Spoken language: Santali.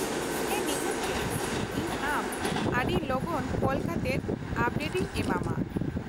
ᱦᱮᱸ ᱱᱤᱦᱟᱹᱛ ᱜᱮ, ᱤᱧ ᱟᱢ ᱟᱹᱰᱤ ᱞᱚᱜᱚᱱ ᱠᱚᱞ ᱠᱟᱛᱮᱫ ᱟᱯᱰᱮᱴ ᱤᱧ ᱮᱢᱟᱢᱟ ᱾